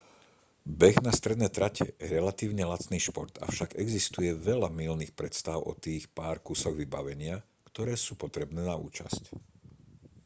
beh na stredné trate je relatívne lacný šport avšak existuje veľa mylných predstáv o tých pár kusoch vybavenia ktoré sú potrebné na účasť